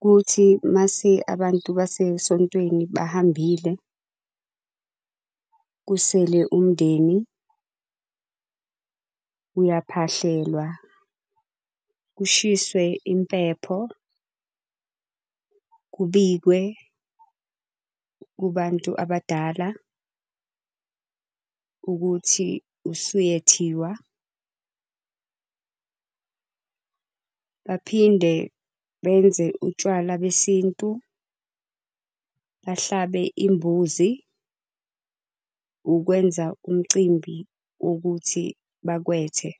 Kuthi mase abantu basesontweni bahambile kusele umndeni uyaphahlelwa, kushiswe impepho kubikwe kubantu abadala ukuthi usuyethiwa. Baphinde benze utshwala besintu, bahlabe imbuzi ukwenza umcimbi wokuthi bakwethe.